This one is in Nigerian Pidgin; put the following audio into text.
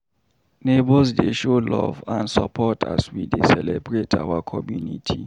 Neighbors dey show love and support as we dey celebrate our community.